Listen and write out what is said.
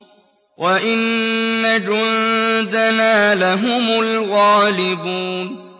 وَإِنَّ جُندَنَا لَهُمُ الْغَالِبُونَ